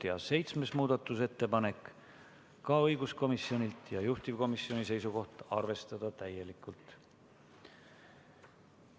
Ja ka seitsmes muudatusettepanek on õiguskomisjonilt, juhtivkomisjoni seisukoht on arvestada seda täielikult.